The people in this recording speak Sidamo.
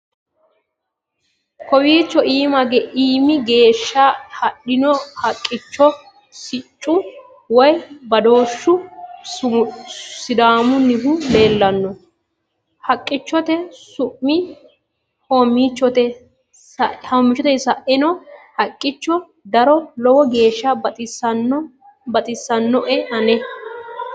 kowiicho iiimi geeshsha hadhino haqqichonna siccu woy badooshshu sidaamunnihu leellanno haqqichote su'mi hoommichote saeennanno haqqicho daro lowo geeshsha baxissinoe ane